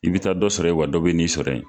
I bi taa dɔ sɔrɔ yen, wa dɔ bi n'i sɔrɔ yen.